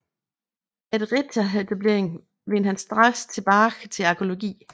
Efter rehabiliteringen vendte han straks tilbage til arkæologien